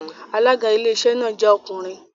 Alága Iléeṣẹ́ náà jẹ́ ọkùnrin